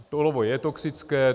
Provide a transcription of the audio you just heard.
Olovo je toxické.